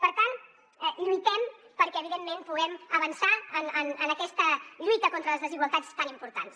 per tant lluitem perquè evidentment puguem avançar en aquesta lluita contra les desigualtats tan importants